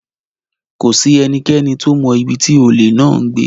Kò sí ẹnikẹ́ni tó mọ ibi tí olè náà ń gbé.